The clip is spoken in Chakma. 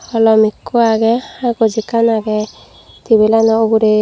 holom ekko aage agoj ekkan aage table ano ugure.